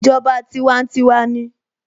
Ìjọba tiwantiwa ni